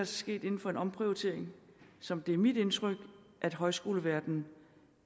sket inden for en omprioritering som det er mit indtryk at højskoleverdenen